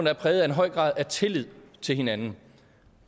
er præget af en høj grad af tillid til hinanden